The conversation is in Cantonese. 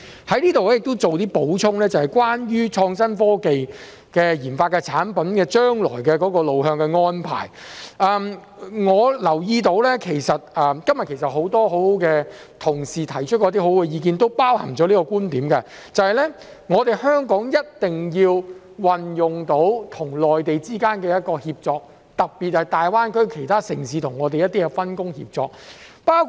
我在這裏亦做一些補充，關於創新科技研發的產品的將來路向的安排，我留意到今天很多同事提出了一些很好的意見，當中亦包含了這個觀點，就是香港一定要運用到與內地之間的一個協作，特別是大灣區其他城市跟我們的一些分工協作。